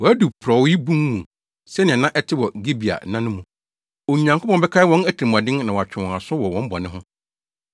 Wɔadu porɔwee bun mu, sɛnea na ɛte wɔ Gibea nna no mu. Onyankopɔn bɛkae wɔn atirimɔden na watwe wɔn aso wɔ wɔn bɔne ho.